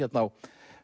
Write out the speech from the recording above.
á